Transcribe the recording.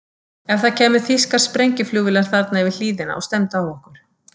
Ef það kæmu þýskar sprengjuflugvélar þarna yfir hlíðina og stefndu á okkur?